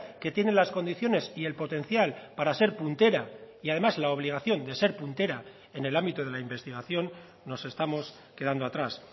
que tiene las condiciones y el potencial para ser puntera y además la obligación de ser puntera en el ámbito de la investigación nos estamos quedando atrás